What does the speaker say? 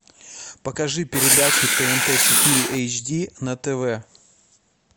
покажи передачу тнт четыре эйч ди на тв